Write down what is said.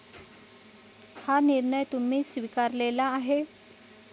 हा निर्णय तुम्ही स्वीकारलेला आहे.